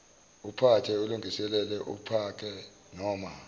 uphathe ulungiselele uphakenoma